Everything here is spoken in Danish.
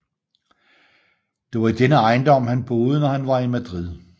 Det var i denne ejendom han boede når han var i Madrid